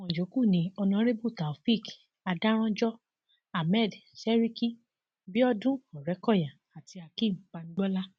àwọn yòókù ni honorébù taofeek adárànjọ ahmed seriki biodun ọrẹkọyà àti akeem bamgbọlá